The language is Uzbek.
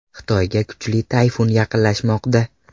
Xitoyga kuchli tayfun yaqinlashmoqda.